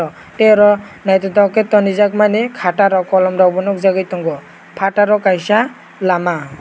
tei oro naitotok ke tonrijak mani kata rok kolom rok nogjagoi tongo pataro kaisa lama.